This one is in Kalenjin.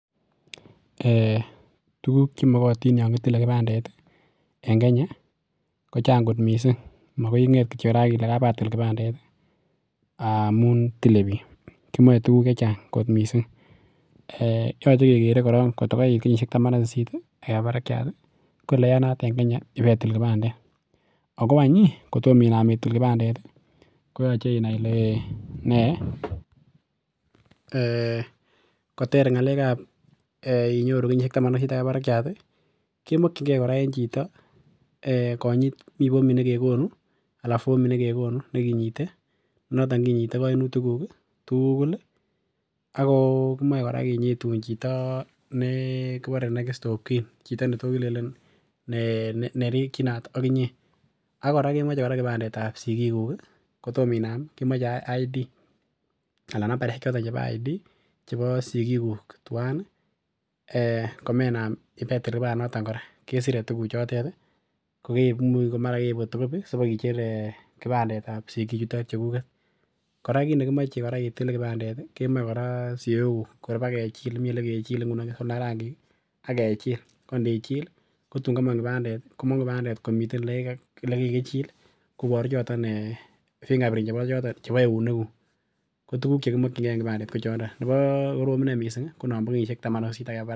Ee tuguk che makatin yon kitile kibandet en Kenya kochak kot miisik makoi inget kityo raa ak Ile kabatil kipandet ii amun tile biik, kimoche tuguk chechang kot miisik eh yoche kekere koron kot koriit kenyoshek taman ak sisit ak keba barakiat ko oleyanat en Kenya ibeitil kibandet ago any ii kotomo inam itil kibandet koyoche inai ile nee eh koter ngalek ab inyoru Taman ak sisit ak keba barakiat kemokinkee koraa en chito eh konyit anan mi formit ne kegonu Anam Mii formit nengekonu ne kinyite noton kinyite koinutik nguk tuguk tugul ak kimoe koraa kinyitun chito nekibore next of kin chito neto kilelel nerikinot ngee ak kinyee ak koraa kimache kibandet ab sikik kuu kotom inam kemache id anan nambarishek cheton chebo id chebo sikikuk tuwan ee komenab ibeitil kibandet noton kesire tuguk cheto mara keib photocopy sibkicher ee kibandet ab sikik chuton chekuket, koraa kiit nekimoche itile kibandet kemoche koraa siok nguk kor ibak kechile Mii ole kechile ole tindoo rangik ii ak kechil ko inichil ii kotun komok kibandet ii komokuk kibandet komiten ole kikakichil koboru choton fingerprint chebo choton ounok nguk ko tuguk che kimokinkee en kibandet ko choton nebuch nekorom any miisik ko nobon kenyishek Taman ak sisit ak keba barak.